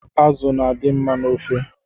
Azụ na-adị mma n’ofe